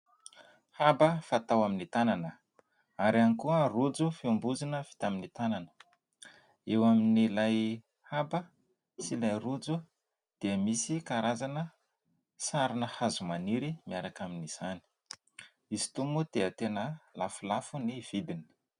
Haba fatao amin'ny tanana ary ihany koa rôjo fiambozonana fatao amin'ny tanana eo amin'ilay haba sy ilay rôjo dia misy karazana sarina hazomaniry miaraka amin'izany. Izy itony moa dia tena lafolafo ny vidiny.